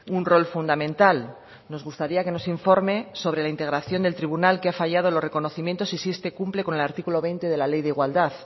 un rol fundamental nos gustaría que nos informe sobre la integración del tribunal que ha fallado los reconocimientos y si este cumple con el artículo veinte de la ley de igualdad